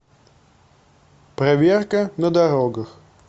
проверка на дорогах